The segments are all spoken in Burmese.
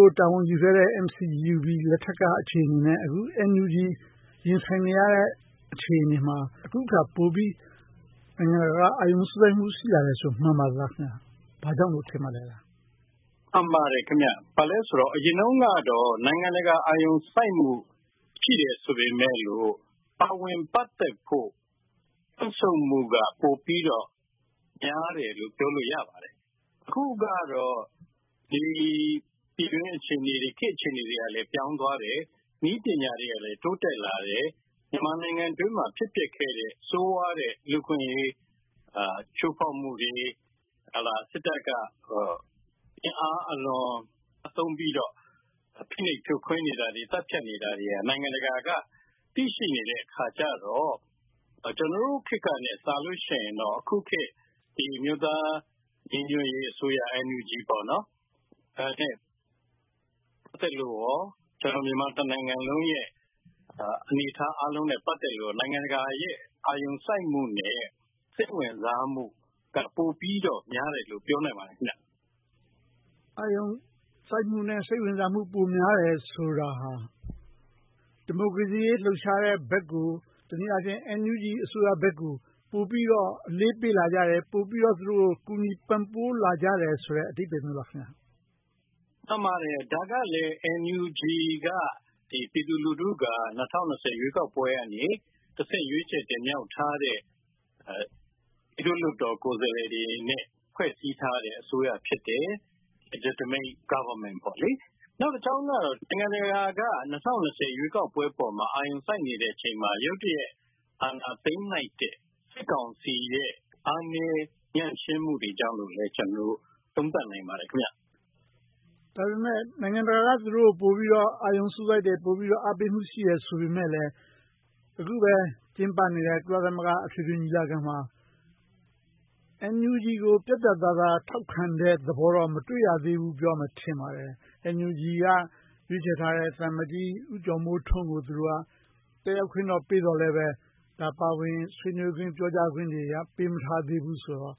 ို့ တာဝန်ယူခဲ့တဲ့ NCGUB လက်ထက်က အခြေအနေနဲ့ အခု NUG ရင်ဆိုင်နေရတဲ့ အခြေအနေမှာ အခုအခါ နိုင်ငံတကာက ပိုပြီးတော့ အာရုံစူးစိုက်မှု ရှိလာတယ်ဆိုရင် မှန်ပါသလား။ ဘာကြောင့်လို့ ထင်ပါသလဲ။ မှန်ပါတယ်။ အရင်တုန်းကတော့ နိုင်ငံတကာ အာရုံစူးစိုက်မှု ရှိတယ်ဆိုပေမယ့် ပါဝင်ပတ်သက်ဖို့ တုန့်ဆုတ်မှုက ပိုပြီးတော့ များတယ်လို့ ပြောလို့ရပါတယ်။ အခုကတော့ ပြည်တွင်းအခြေအနေ၊ ခေတ်အခြေအနေတွေ ပြောင်းသွားတယ်။ နည်းပညာတွေလည်း တိုးတက်လာတယ်။ မြန်မာနိုင်ငံအတွင်းမှာ ဖြစ်ပျက်ခဲ့တဲ့ ဆိုးဝါးတဲ့ လူ့အခွင့်အရေး ချိုးဖောက်မှုတွေ၊ စစ်တပ်က အင်အားအလွန်သုံးပြီးတော့ ဖိနှိပ်ဖြိုခွင်းနေတာတွေ၊ သတ်ဖြတ်နေတာတွေကို နိုင်ငံတကာက သိရှိနေတော့ ကျနော်တို့ခေတ်ကထက်စာရင် အခုခေတ် အမျိုးသားညီညွှတ်ရေးအစိုးရ နဲ့ ပတ်သက်လို့ မြန်မာတနိုင်ငံလုံးရဲ့ အနေအထားအားလုံးနဲ့ ပတ်သက်လို့ နိုင်ငံတကာရဲ့ အာရုံစိုက်မှုနဲ့ စိတ်ဝင်စားမှုတို့က ပိုပြီးတော့များတယ်လို့ ပြောနိုင်ပါတယ်။ အာရုံစိုက်မှုနဲ့ စိတ်ဝင်စားမှု ပိုများတယ်ဆိုတာဟာ ဒီမိုကရေစီရေး လှုပ်ရှားတဲ့ဘက်ကို တနည်းအားဖြင့် NUG အစိုးရဘက်ကို ပိုပြီးတော့ အလေးပေးလာကြတယ်။ ပိုပြီးတော့ သူတို့ကို ကူညီပံ့ပိုးလာကြတယ်ဆိုတဲ့ အဓိပ္ပါယ်မျိုးလား။ မှန်ပါတယ်။ ဒါကလဲ NUG က ပြည်သူလူထုက ၂၀၂၀ ရွေးကောက်ပွဲကနေတဆင့် ရွေးချယ်တင်မြှောက်ထားတဲ့ ပြည်သူ့လွှတ်တော်ကိုယ်စားလှယ်တွေနဲ့ ဖွဲ့စည်းထားတဲ့ အစိုးရ ဖြစ်တယ်။ Legitimate Government - နောက်တကြောင်းက နိုင်ငံတကာက ၂၀၂၀ ရွေးကောက်ပွဲပေါ် အာရုံစိုက်နေတဲ့အချိန်မှာ ရုတ်တရက် အာဏာသိမ်းလိုက်တဲ့ စစ်ကောင်စီရဲ့ အားနည်းညံ့ဖျင်းမှုတွေကြောင့်လို့ ကျနော်တို့ သုံးသပ်နိုင်ပါတယ်။ ဒါပေမဲ့ နိုင်ငံတကာက သူတို့ကို ပိုပြီးတော့ အာရုံစူးစိုက်တယ်။ ပိုပြီးတော့ အားပေးမှု ရှိတယ်ဆိုပေမယ့်လဲ အခုပဲ ကျင်းပနေတဲ့ ကုလသမဂ္ဂ အထွေထွေညီလာခံမှာ NUG ကို ပြတ်ပြတ်သားသား ထောက်ခံတဲ့ သဘောထားကို မတွေ့ရသေးဘူးလို့ ပြောရမယ် ထင်ပါတယ်။ NUG က ရွေးချယ်ထားတဲ့ သံအမတ်ကြီး ဦးကျော်မိုးထွန်းကို တက်ရောက်ခွင့်တော့ပေးသော်လဲ ပါဝင်ဆွေးနွေးခွင့်တွေ၊ ပြောကြားခွင့်တွေ ပေးမထားသေးတော့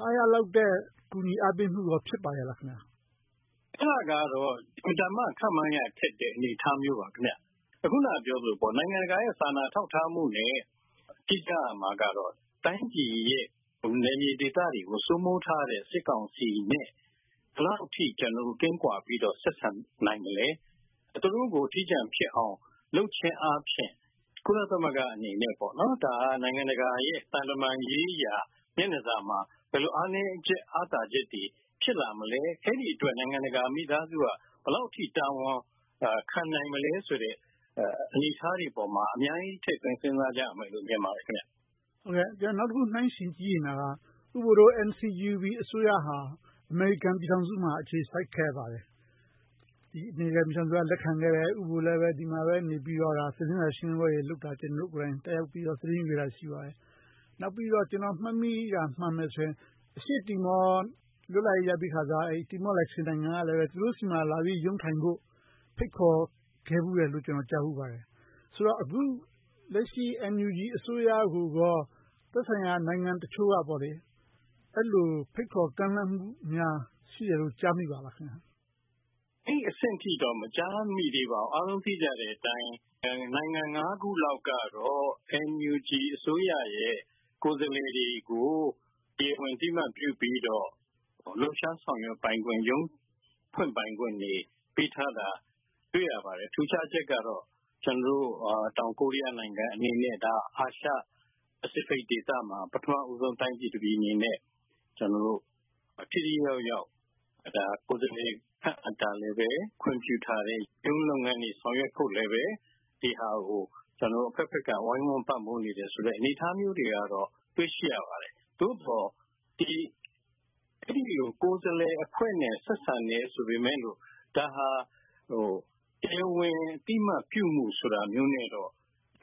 အားရလောက်တဲ့ ကူညီအားပေးမှုကော ဖြစ်ပါရဲ့လား။ အဲဒါကတော့ အင်မတန်မှ ခန့်မှန်းရခက်တဲ့ အနေအထားမျိုးပါ။ အခုနပြောသလို နိုင်ငံတကာရဲ့ စာနာထောက်ထားမှုနဲ့ သိကြရမှာကတော့ တိုင်းပြည်ရဲ့ နယ်မြေဒေသတွေကို စိုးမိုးထားတဲ့ စစ်ကောင်စီနဲ့ ဘယ်လောက်အထိ ကျနော်တို့ ကင်းကွာပြီးတော့ ဆက်ဆံနိုင်သလဲ။ သူတို့ကို အထီးကျန်ဖြစ်အောင် လုပ်ခြင်းအားဖြင့် ကုလသမဂ္ဂအနေနဲ့ ဒါက နိုင်ငံတကာ သံတမန်ရေးရာ မျက်နှာစာမှာ ဘယ်လိုအားနည်းချက်၊ အားသာချက်တွေ ဖြစ်လာမလဲ။ အဲဒီအတွက် နိုင်ငံတကာမိသားစုက ဘယ်လောက်အထိ တာဝန်ကော ခံနိုင်မလဲဆိုတဲ့ အနေအထားတွေပေါ်မှာ အများကြီးထည့်သွင်းစဉ်းစားရမယ်လို့ မြင်ပါတယ်။ နောက်တခု နှိုင်းယှဉ်ကြည့်ချင်တာက ဦးဘိုတို့ NCUGB အစိုးရဟာ အမေရိကန်ပြည်ထောင်စုမှာ အခြေစိုက်ခဲ့ပါတယ်။ အမေရိကန်ပြည်ထောင်စုက လက်ခံခဲ့တယ်။ ဦးဘိုလည်း ဒီမှာပဲနေပြီးတော့ သတင်းစာရှင်းလင်းပွဲတွေလုပ်တာ ကျနော်တို့ကိုယ်တိုင် တက်ရောက်ပြီးတော့ သတင်းယူခဲ့တာ ရှိခဲ့ပါတယ်။ နောက်ပြီးတော့ ကျနော်မှတ်မိတာ မှန်မယ်ဆိုရင် အရှေ့တီမောလ်လွတ်လပ်ရေးရပြီးခါစ တီမောလ်နိုင်ငံကလည်း သူတို့ဆီမှာလာပြီးတော့ ရုံးထိုင်ဖို့ ဖိတ်ခေါ်ခဲ့ဖူးတယ်လို့ ကျနော် ကြားဖူးပါတယ်။ ဆိုတော့ အခုလက်ရှိ NUG အစိုးရကို သက်ဆိုင်ရာ နိုင်ငံတချို့က အဲဒီလို ဖိတ်ခေါ်ကမ်းလှမ်းမှုများ ရှိတယ်လို့ ကြားမိပါသလား။ အဲဒီအဆင့်အထိတော့ မကြားမိသေးပါဘူး။ အားလုံးကြားသိတဲ့အတိုင်း နိုင်ငံ ခုလောက်ကတော့ NUG အစိုးရရဲ့ ကိုယ်စားလှယ်တွေကို တရားဝင်အသိအမှတ်ပြုပြီးတော့ လှုပ်ရှားဆောင်ရွက်ပိုင်ခွင့် ရုံးဖွင့်ပိုင်ခွင့်တွေ ပေးထားတာ တွေ့ရပါတယ်။ ထူးခြားချက်ကတော့ တောင်ကိုရီးယားနိုင်ငံအနေနဲ့ အာရှပစ္စီဖိတ်ဒေသမှာ ပထမဦးဆုံး တိုင်းပြည်တပြည်အနေနဲ့ ထိထိရောက်ရောက် ကိုယ်စားလှယ်ခန့်အပ်တာလည်း ခွင့်ပြုထားတယ်။ ရုံးလုပ်ငန်းတွေ ဆောင်ရွက်ဖို့လည်း ဒီဟာကို အဘက်ဘက်မှ ဝိုင်းဝန်းပံ့ပိုးနေတယ်ဆိုတဲ့ အနေအထားမျိုးတွေတော့ တွေ့ရှိရပါတယ်။ သို့သော် အဲဒီလို ကိုယ်စားလှယ်အဖွဲ့နဲ့ ဆက်ဆံတယ်ဆိုပေမယ့်လို့ ဒါဟာ တရားဝင် အသိအမှတ်ပြုမှုဆိုတာမျိုးနဲ့တော့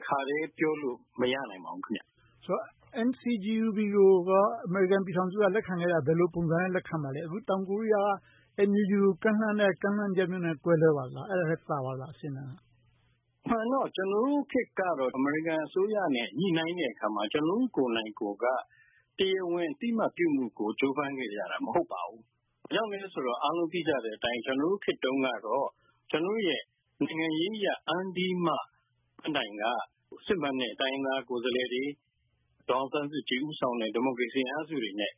တခါတည်းပြောလို့ မရနိုင်ပါဘူး။ ဆိုတော့ NCGUB ကိုရော အမေရိကန်ပြည်ထောင်စုက လက်ခံခဲ့တာ ဘယ်လိုပုံစံမျိုးနဲ့ လက်ခံခဲ့တာပါလဲ။ အခု တောင်ကိုရီးယားက NUG ကို ကမ်းလှမ်းတဲ့ ပုံစံမျိုးနဲ့ ကွဲလွဲပါသလား။ အဲဒါထက်သာပါသလား။ အဆင့်အတန်းက။ အမှန်ကတော့ ကျနော်တို့ခေတ်တုန်းကတော့ အမေရိကန်အစိုးရနဲ့ ညှိနှိုင်းတဲ့အခါမှာ ကျနော်တို့ကိုယ်တိုင်ကိုယ်က တရားဝင်အသိအမှတ်ပြုမှုကို ကြိုးပမ်းခဲ့ကြတာ မဟုတ်ပါဘူး။ ဘာကြောင့်လဲဆိုတော့ အားလုံးသိကြတဲ့အတိုင်း ကျနော်တို့ခေတ်တုန်းကတော့ ကျနော်တို့ရဲ့ နိုင်ငံရေးအရ အမြင့်ဆုံးပန်းတိုင်က စစ်မှန်တဲ့ တိုင်းရင်းသားကိုယ်စားလှယ်တွေ၊ ဒေါ်အောင်ဆန်းစုကြည် ဦးဆောင်တဲ့ ဒီမိုကရေစီအင်အားစုတွေနဲ့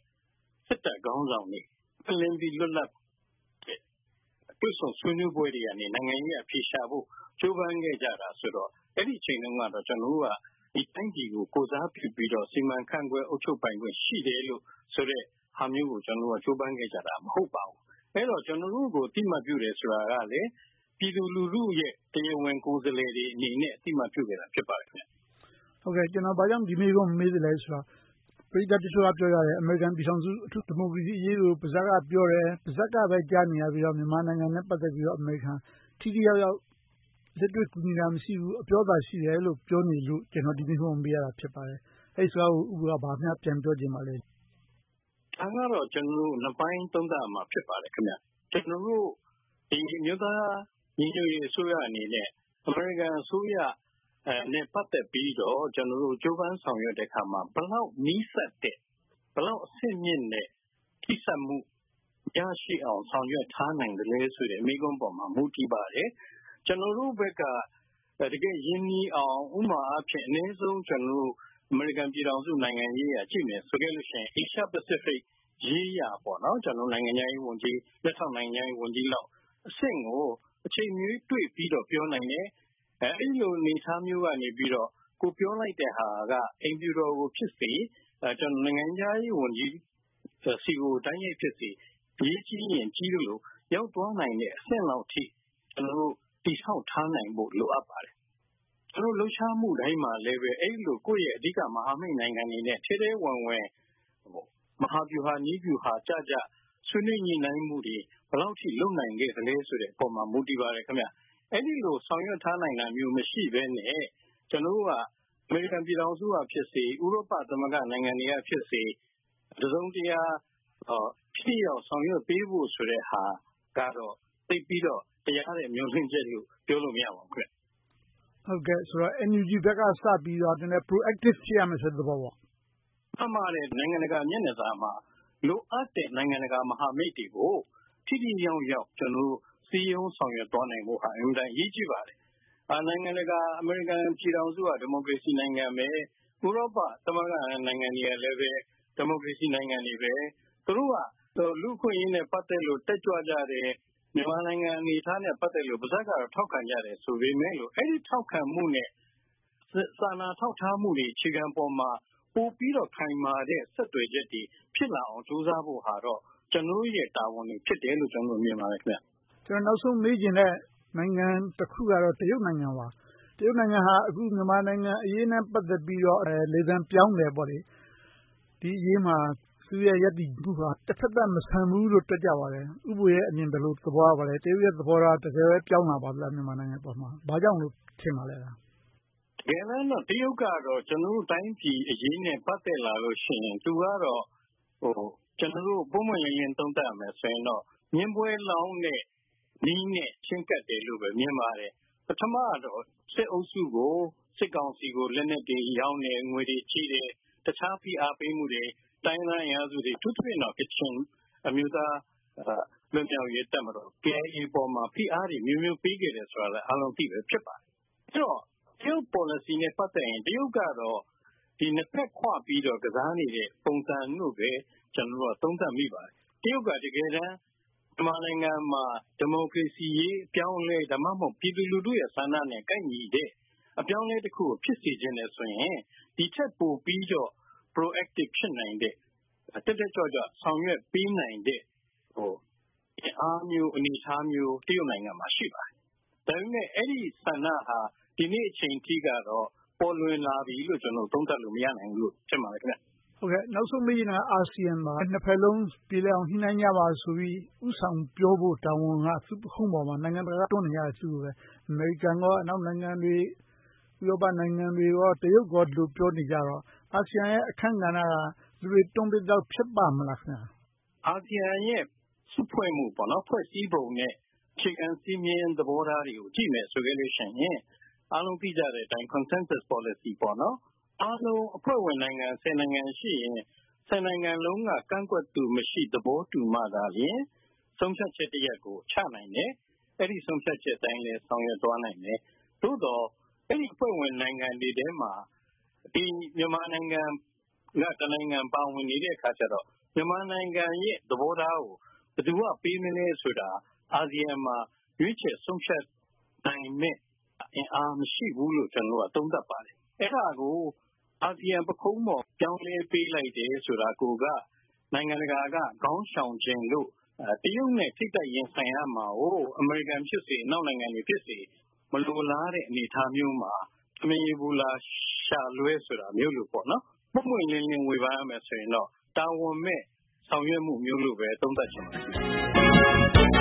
စစ်တပ်ခေါင်းဆောင်တွေ ပွင့်လင်းပြီး လွတ်လပ်တဲ့ တွေ့ဆုံဆွေးနွေးပွဲတွေကနေ နိုင်ငံရေးအရ အဖြေရှာဖို့ ကြိုးပမ်းခဲ့ကြတာဆိုတော့ အဲဒီအချိန်တုန်းက ကျနော်တို့က ဒီတိုင်းပြည်ကို ကိုယ်စားပြုပြီးတော့ စီမံခန့်ခွဲအုပ်ချုပ်ပိုင်ခွင့် ရှိတယ်လို့ဆိုတဲ့ဟာမျိုးကို ကြိုးပမ်းခဲ့ကြတာ မဟုတ်ပါဘူး။ အဲဒီတော့ ကျနော်တို့ကို အသိအမှတ်ပြုတယ်ဆိုတာကလဲ ပြည်သူလူထုရဲ့ တရားဝင်ကိုယ်စားလှယ်တွေအနေနဲ့ အသိအမှတ်ပြုခဲ့တာ ဖြစ်ပါတယ်။ ဘာကြောင့် ဒီမေးခွန်းကို မေးသလဲဆိုတော့ ပရိသတ်တချို့က ပြောကြတယ်။ အမေရိကန်ပြည်ထောင်စုက ဒီမိုကရေစီအရေးကို ပါးစပ်ကပြောတယ်။ ပါးစပ်ကပြောတာကိုပဲ ကြားနေရပြီးတော့ မြန်မာနိုင်ငံနဲ့ ပတ်သက်ပြီးတော့ အမေရိကန်နိုင်ငံက ထိထိရောက်ရောက် လက်တွေ့ကူညီတာ မရှိဘူး၊ အပြောသာ ရှိတယ်လို့ ပြောနေကြလို့ ကျနော်က ဒီမေးခွန်းကို မေးရခြင်း ဖြစ်ပါတယ်။ အဲဒီစကားကို ဦးဘိုက ဘာများပြန်ပြောချင်ပါလဲ။ ဒါကတော့ ကျနော်တို့ နှစ်ပိုင်းသုံးသပ်ရမှာ ဖြစ်ပါတယ်။ ကျနော်တို့ အမျိုးသားညီညွှတ်ရေးအစိုးရအနေနဲ့ အမေရိကန်အစိုးရနဲ့ ပတ်သက်ပြီးတော့ ကျနော်တို့ ကြိုးပမ်းဆောင်ရွက်တဲ့အခါမှာ ဘယ်လောက်နီးစပ်တဲ့၊ ဘယ်လောက်အဆင့်မြင့်တဲ့ ထိဆက်တဲ့ ရရှိအောင် ဆောင်ရွက်ထားနိုင်သလဲဆိုတဲ့ မေးခွန်းပေါ်မှာ မူတည်ပါတယ်။ ကျနော်တို့ဘက်က တကယ့်ရင်းနှီးအောင် ဥပမာအားဖြင့် အနည်းဆုံး အမေရိကန်နိုင်ငံရေးအရ ကြည့်မယ်ဆိုခဲ့လို့ရှိရင် Asia-Pacific ရေးရာ နိုင်ငံခြားရေးဝန်ကြီး၊ လက်ထောက်နိုင်ငံခြားရေးဝန်ကြီးလောက်အဆင့်ကို အချိန်မရွေးတွေ့ပြီးတော့ ပြောနိုင်တယ်။ အဲဒီလိုအနေအထားမျိုးကနေ ကိုယ်ပြောလိုက်တဲ့ဟာက အိမ်ဖြူတော်ကိုဖြစ်စေ၊ နိုင်ငံခြားရေးဝန်ကြီးဆီကို တိုက်ရိုက်ဖြစ်စေ အရေးကြီးရင်း ကြီးသလို ရောက်သွားနိုင်တဲ့အဆင့်လောက်အထိ ကျနော်တို့ တည်ဆောက်ထားနိုင်ဖို့ လိုအပ်ပါတယ်။ သူတို့လှုပ်ရှားမှုတိုင်းမှာလည်း အဲဒီလို ကိုယ့်ရဲ့အဓိကမဟာမိတ်နိုင်ငံတွေနဲ့ ထဲထဲဝင်ဝင် မဟာဗျူဟာ၊ နည်းဗျူဟာကျကျ ဆွေးနွေးညှိနှိုင်းမှုတွေ ဘယ်လောက်အထိ လုပ်နိုင်ခဲ့သလဲဆိုတဲ့အပေါ် မူတည်ပါတယ်။ အဲဒီလို ဆောင်ရွက်ထားနိုင်တာမျိုး မရှိဘဲနဲ့ ကျနော်တို့က အမေရိကန်ပြည်ထောင်စုကဖြစ်စေ၊ ဥရောပသမဂ္ဂနိုင်ငံတွေကဖြစ်စေ တစုံတရာ ထိထိရောက်ရောက် ဆောင်ရွက်ပေးဖို့ဆိုတဲ့ဟာကတော့ သိပ်ပြီးတော့ တရားတဲ့မျှော်လင့်ချက်လို့ ပြောလို့မရပါဘူး။ NUG ဘက်က စပြီးတော့ Pro-active ဖြစ်ရမယ်ဆိုတဲ့သဘောပေါ့။ မှန်ပါတယ်။ နိုင်ငံတကာ မျက်နှာသာမှာ လိုအပ်တဲ့ နိုင်ငံတကာမဟာမိတ်တွေကို ထိထိရောက်ရောက် ကျနော်တို့ စည်းရုံးဆောင်ရွက်သွားဖို့က အင်မတန်အရေးကြီးပါတယ်။ နိုင်ငံတကာ၊ အမေရိကန်ပြည်ထောင်စုက ဒီမိုကရေစီနိုင်ငံပဲ၊ ဥရောပသမဂ္ဂနိုင်ငံတွေကလည်း ဒီမိုကရေစီနိုင်ငံတွေပဲ။ သူတို့က လူ့အခွင့်အရေးနဲ့ ပတ်သက်လို့ တက်ကြွကြတဲ့ မြန်မာနိုင်ငံအနေအထားနဲ့ ပတ်သက်လို့ ပါးစပ်ကနေ ထောက်ခံကြတယ်ဆိုပေမယ့် အဲဒီထောက်ခံမှုနဲ့ စာနာထောက်ထားမှုတွေ အခြေခံပေါ်မှာ ပိုပြီးတော့ ခိုင်မာတဲ့ ဆက်သွယ်ချက်တွေ ဖြစ်လာအောင် ကြိုးစားဖို့ကတော့ ကျနော်တို့ရဲ့ တာဝန်တွေဖြစ်တယ်လို့ မြင်ပါတယ်။ ကျနော် နောက်ဆုံးမေးချင်တဲ့ နိုင်ငံတခုကတော့ တရုတ်နိုင်ငံပါ။ တရုတ်နိုင်ငံဟာ အခုမြန်မာနိုင်ငံအရေးနဲ့ ပတ်သက်ပြီးတော့ လေသံပြောင်းတယ်။ ဒီအရေးမှာ သူ့ရဲ့ရပ်တည်မှုက တဘက်သတ်မဆန်ဘူးလို့ တွက်ကြပါတယ်။ ဦးဘိုရဲ့အမြင် ဘယ်လိုသဘောရပါသလဲ။ တရုတ်ရဲ့သဘော တကယ်ပဲ ပြောင်းလာပါသလား။ မြန်မာနိုင်ငံအပေါ်မှာ။ ဘာကြောင့်လို့ ထင်ပါသလဲ။ တကယ်တမ်းတော့ တရုတ်ကတော့ ကျနော်တို့တိုင်းပြည်အရေးနဲ့ ပတ်သက်လာလို့ရှိရင် သူကတော့ ပွင့်ပွင့်လင်းလင်း သုံးသပ်ပြောရမယ်ဆိုရင်တော့ မြင်းပွဲလောင်းတဲ့နည်းနဲ့ ချဉ်းကပ်တယ်လို့ပဲ မြင်ပါတယ်။ ပထမတော့ စစ်အုပ်စုကို စစ်ကောင်စီကို လက်နက်တွေရောင်းတယ်။ ငွေတွေချေးတယ်။ တခြားဖိအားပေးမှုတွေ၊ တိုင်းရင်းသားအင်အားစုတွေ အထူးသဖြင့် ကချင်အမျိုးသားလွတ်မြောက်ရေးတပ်မတော် KIA ပေါ် ဖိအားတွေအမျိုးမျိုး ပေးခဲ့တယ်ဆိုတာလဲ အားလုံးအသိပဲ ဖြစ်ပါတယ်။ အဲဒီတော့ တရုတ်ပေါ်လစီနဲ့ ပတ်သက်ရင် တရုတ်ကတော့ နှစ်ဘက်ခွပြီးတော့ ကစားနေတဲ့ပုံစံလို့ပဲ သုံးသပ်မိပါတယ်။ တရုတ်က တကယ်တမ်း မြန်မာနိုင်ငံမှာ ဒီမိုကရေစီအရေး အပြောင်းအလဲ၊ ဒါမှမဟုတ် ပြည်သူလူထုရဲ့ ဆန္ဒနဲ့ ကိုက်ညီတဲ့ အပြောင်းအလဲတခုကို ဖြစ်စေချင်တယ်ဆိုရင် ဒီထက်ပိုပြီးတော့ Pro-active ဖြစ်နိုင်တဲ့၊ တက်တက်ကြွကြွ ဆောင်ရွက်ပေးနိုင်တဲ့ အင်အားမျိုး၊ အနေအထားမျိုး တရုတ်နိုင်ငံမှာ ရှိပါတယ်။ ဒါပေမဲ့ အဲဒီဆန္ဒဟာ ဒီနေ့ဒီအချိန်အထိတော့ ပေါ်လွင်လာပြီးလို့ ကျနော်တို့ သုံးသပ်လို့ မရနိုင်သေးဘူးလို့ ထင်ပါတယ်။ နောက်ဆုံးမေးချင်တာက အာဆီယံပါ။ နှစ်ဘက်စလုံးပြေလည်အောင် ညှိနှိုင်းကြပါဆိုပြီး ဦးဆောင်ပြောဖို့က သူ့ပခုံးပေါ်မှာ။ နိုင်ငံတကာက တွန်းနေကြတာ။ အမေရိကန်၊ အနောက်နိုင်ငံတွေ၊ ဥရောပနိုင်ငံတွေ၊ တရုတ်တို့က ဒီလိုပြောနေကြတော့ အာဆီယံရဲ့ အခန်းကဏ္ဍက လူတွေတွန်းပေးသလောက် ဖြစ်ပါ့မလား။ အာဆီယံရဲ့ စုဖွဲ့မှု၊ ဖွဲ့စည်းပုံနဲ့ အခြေခံစည်းမျဉ်းသဘောထားတွေကို ကြည့်မယ်ဆိုရင် အားလုံးသိကြတဲ့အတိုင်း Consensus Policy အဖွဲ့ဝင်နိုင်ငံ နိုင်ငံရှိရင် နိုင်ငံလုံးက ကန့်ကွက်သူမရှိ၊ သဘောတူမှသာလျှင် ဆုံးဖြတ်ချက်တရပ်ကို ချနိုင်တယ်။ အဲဒီဆုံးဖြတ်ချက်အတိုင်းလည်း ဆောင်ရွက်သွားနိုင်တယ်။ သို့သော် အဲဒီအဖွဲ့ဝင်နိုင်ငံတွေထဲမှာ မြန်မာနိုင်ငံက တနိုင်ငံပါဝင်နေတော့ မြန်မာနိုင်ငံရဲ့သဘောထားကို ဘယ်သူက ပေးမလဲဆိုတာ အာဆီယံမှာ ရွေးချယ်ဆုံးဖြတ်နိုင်မယ့်အင်အား မရှိဘူးလို့ သုံးသပ်ပါတယ်။ အဲဒါကို အာဆီယံပခုံးပေါ် ပြောင်းလဲပေးလိုက်တယ်ဆိုတာကိုက နိုင်ငံတကာက ခေါင်းရှောင်ခြင်းလို့ တရုတ်နဲ့ ထိပ်တိုက်ရင်ဆိုင်ရမှာကို အမေရိကန်ကဖြစ်စေ၊ အနောက်နိုင်ငံတွေဖြစ်စေ မလိုလားတဲ့အနေအထားမျိုးမှာ ထမင်းရေပူ လျှာလွှဲတာမျိုးလိုပေါ့။ ပွင့်ပွင့်လင်းလင်း ဝေဖန်ရမယ်ဆိုရင်တော့ တာဝန်မဲ့ ဆောင်ရွက်မှုမျိုးလိုပဲ သုံးသပ်ချင်ပါတယ်